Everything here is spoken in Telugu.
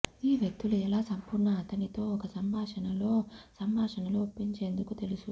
ఈ వ్యక్తులు ఎలా సంపూర్ణ అతనితో ఒక సంభాషణ లో సంభాషణలో ఒప్పించేందుకు తెలుసు